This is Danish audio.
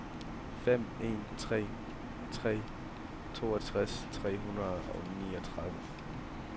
fem en tre tre toogtres tre hundrede og niogtredive